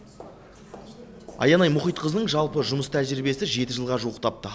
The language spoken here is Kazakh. аянай мұхитқызының жалпы жұмыс тәжірибесі жеті жылға жуықтапты